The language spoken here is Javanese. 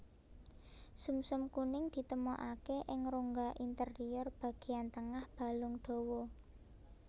Sumsum kuning ditemokaké ing rongga interior bagéyan tengah balung dawa